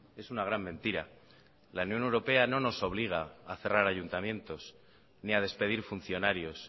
es una gran mentira la unión europea no nos obliga a cerrar ayuntamientos ni a despedir funcionarios